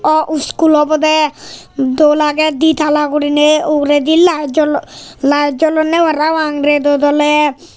aw school obode dol aage di tala guriney uguredi light jolo light jolone parapang redod ole.